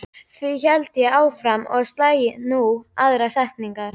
Því héldi ég áfram og slægi nú á aðra strengi